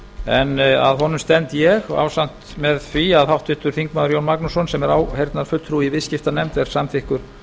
en að honum stend ég ásamt með því að háttvirtur þingmaður jón magnússon sem er áheyrnarfulltrúi í viðskiptanefnd er samþykkur